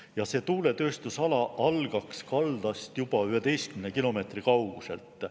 Ja see tuuletööstusala algaks kaldast juba 11 kilomeetri kauguselt.